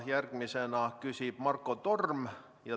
Järgmisena küsib Marko Torm.